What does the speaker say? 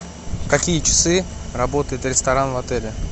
в какие часы работает ресторан в отеле